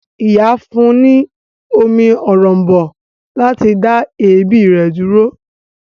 Ìyá fún ní omi òrom̀bó láti dá èébì rẹ̀ dúró.